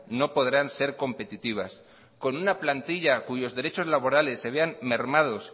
no podrán ser competitivas con una plantilla cuyos derechos laborales se vean mermados